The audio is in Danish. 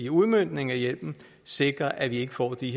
udmøntning af hjælpen sikre at vi ikke får de